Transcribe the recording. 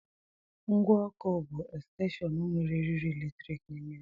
Ngwa ọkụ bu Estenshon nwere eriri eletrik n'ime ya.